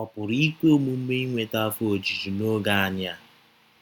Ọ pụrụ ikwe omume inweta afọ ojuju n’oge anyị a?